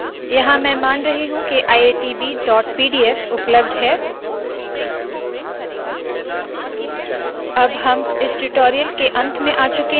यहाँ मैं मान रही हूँ के iitbpdf उपलब्ध है अब हम इस ट्यूटोरियल के अंत में आ चुके है